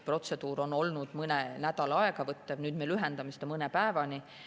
Protseduur on võtnud aega mõne nädala, nüüd me lühendamise seda mõne päevani.